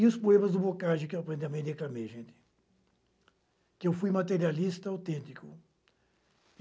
E os poemas do Boccaccio que eu aparentemente declamei, gente, que eu fui materialista autêntico.